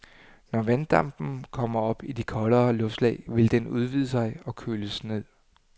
Når vanddampen kommer op i de koldere luftlag, vil den udvide sig og køles ned.